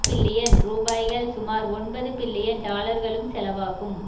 billion ரூபாய்கள் சுமார் ஒன்பது பில்லியன் டாலர்களும் செலவாகும்